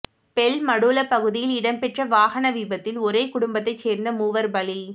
பெல்மடுல்ல பகுதியில் இடம்பெற்ற வாகன விபத்தில் ஒரே குடும்பத்தை சேர்ந்த மூவர் பலி